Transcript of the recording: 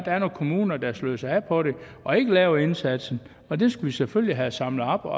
er nogle kommuner der sløser af på det og ikke laver indsatsen og dem skal vi selvfølgelig have samlet op og